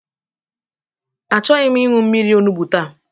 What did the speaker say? Achọghị m ịnwụ mmiri onugbu taa